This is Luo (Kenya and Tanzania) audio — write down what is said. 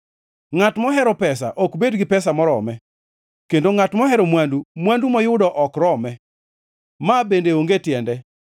Ngʼat mohero pesa ok bed gi pesa morome; kendo ngʼat mohero mwandu, mwandu moyudo ok rome. Ma bende onge tiende.